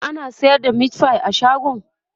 ana sayar da meatfie a shagon?